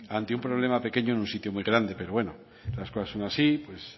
ante un problema pequeño en un sitio muy grande pero bueno las cosas son así pues